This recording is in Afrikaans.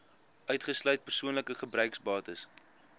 uitgesluit persoonlike gebruiksbates